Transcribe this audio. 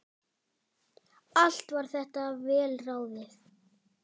Allt var þetta vel ráðið.